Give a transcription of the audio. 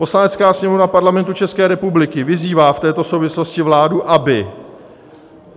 Poslanecká sněmovna Parlamentu České republiky vyzývá v této souvislosti vládu, aby: